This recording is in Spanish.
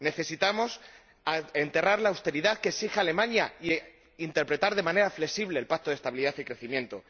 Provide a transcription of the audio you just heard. Necesitamos enterrar la austeridad que exige Alemania e interpretar de manera flexible el Pacto de Estabilidad y Crecimiento.